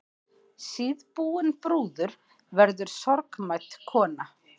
Síðbúin brúður verður sorgmædd kona.